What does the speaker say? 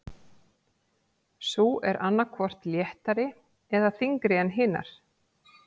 Sú er annað hvort léttari eða þyngri en hinar.